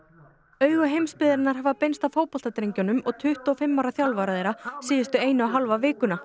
augu heimsbyggðarinnar hafa beinst að fótboltadrengjunum og tuttugu og fimm ára þjálfara þeirra síðustu eina og hálfa